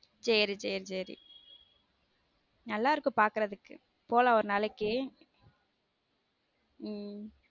சேரி சேரி சேர நல்லா இருக்கும் பாக்குறதுக்கு போலாம் ஒரு நாளைக்க உம்